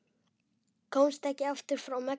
Komst ekki aftur frá Mexíkó